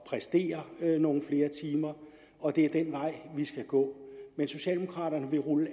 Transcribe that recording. præstere nogle flere timer og det er den vej vi skal gå men socialdemokraterne vil rulle